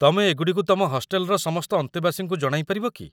ତମେ ଏଗୁଡ଼ିକୁ ତମ ହଷ୍ଟେଲ୍‌ର ସମସ୍ତ ଅନ୍ତେବାସୀଙ୍କୁ ଜଣାଇ ପାରିବ କି?